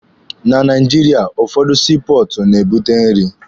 Na Naijiria, ụfọdụ sii pọọtụ na-ebute nri.